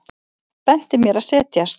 Benti mér að setjast.